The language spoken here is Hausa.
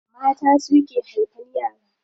Mata suke haifan yara.